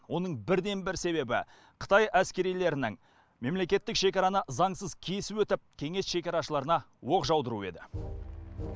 оның бірден бір себебі қытай әскерилерінің мемлекеттік шекараны заңсыз кесіп өтіп кеңес шекарашыларына оқ жаудыруы еді